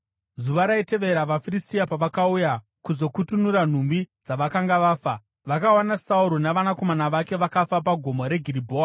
Zuva raitevera, vaFiristia pavakauya kuzokutunura nhumbi dzavakanga vafa; vakawana Sauro navanakomana vake vakafa pagomo reGiribhoa.